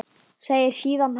Segir síðan hátt